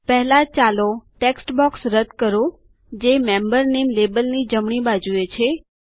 પહેલા ચાલો text box લખાણ બોક્સ રદ્દ કરો જે મેમ્બર નામે લેબલની જમણી બાજુએ છે